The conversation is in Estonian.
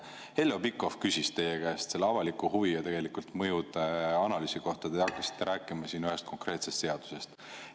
Heljo Pikhof küsis teie käest avaliku huvi ja tegelikult mõjude analüüsi kohta, aga te hakkasite rääkima ühest konkreetsest seadusest.